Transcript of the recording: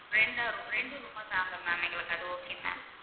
ரெண்டா room ரெண்டு room ஆ தாங்க ma'am எங்களுக்கு அது okay ma'am